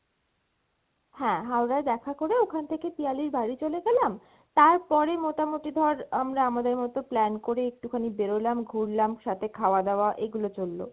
হ্যাঁ, Howrah য় দেখা করে ওখান থেকে পিয়ালির বাড়ি চলে গেলাম, তারপরে মোটামোটি ধর আমরা আমাদের মত plan করে একটুখানি বেরোলাম ঘুরলাম সাথে খাওয়া দাওয়া এগুলো চললো।